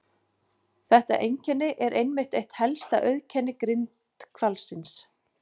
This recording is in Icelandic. Þetta einkenni er einmitt eitt helsta auðkenni grindhvalsins.